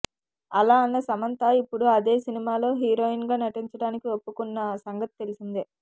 అలా అన్న సమంత ఇప్పుడు అదే సినిమాలో హీరోయిన్ గా నటించడానికి ఒప్పుకున్న సంగతి తెలిసిందే